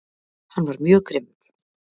Hann var mjög grimmur